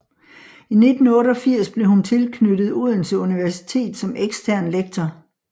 I 1988 blev hun tilknyttet Odense Universitet som ekstern lektor